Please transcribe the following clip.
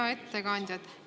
Hea ettekandja!